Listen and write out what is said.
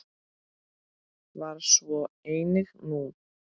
Var svo einnig nú.